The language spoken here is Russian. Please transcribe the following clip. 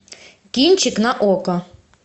кинчик на окко